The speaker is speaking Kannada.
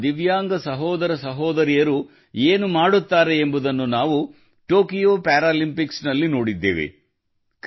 ನಮ್ಮ ದಿವ್ಯಾಂಗ ಸಹೋದರಸಹೋದರಿಯರು ಏನು ಮಾಡುತ್ತಾರೆ ಎಂಬುದನ್ನು ನಾವು ಟೋಕಿಯೋ ಪ್ಯಾರಾಲಿಂಪಿಕ್ಸ್ ನಲ್ಲಿ ನೋಡಿದ್ದೇವೆ